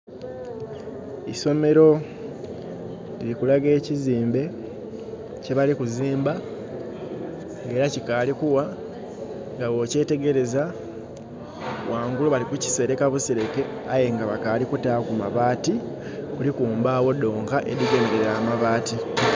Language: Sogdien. Isomero liri kulaga ekiziimbe kye bali kuziimba nga era kikaali kugha. Nga bwokyetegereza, ghangulu bali kukisereka busereke aye nga bakaali kutaaku mabaati. Kuliku mbaagho dhonka edhigemelera amabaati.